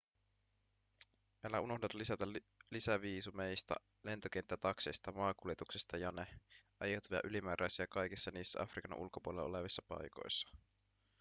älä unohda lisätä lisäviisumeista lentokenttätakseista maakuljetuksesta jne aiheutuvia ylimääräisiä kaikissa niissä afrikan ulkopuolella olevissa paikoissa